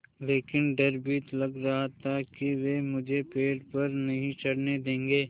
लेकिन डर भी लग रहा था कि वे मुझे पेड़ पर नहीं चढ़ने देंगे